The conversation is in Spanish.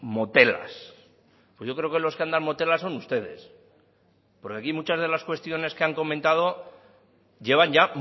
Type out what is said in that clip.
motelas pues yo creo que los que andan motelas son ustedes porque aquí muchas de las cuestiones que han comentado llevan ya